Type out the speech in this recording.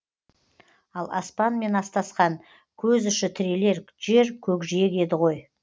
ал аспанмен астасқан көз ұшы тірелер жер көкжиек еді ғой